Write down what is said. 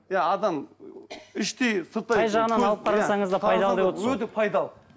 иә адам іштей сырттай қай жағынан алып қарасаңыз да пайдалы деп отырсыз ғой өте пайдалы